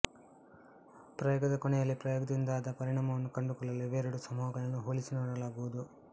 ಪ್ರಯೋಗದ ಕೊನೆಯಲ್ಲಿ ಪ್ರಯೋಗದಿಂದಾದ ಪರಿಣಾಮವನ್ನು ಕಂಡುಕೊಳ್ಳಲು ಇವೆರಡೂ ಸಮೂಹಗಳನ್ನು ಹೋಲಿಸಿನೋಡಲಾಗುವುದು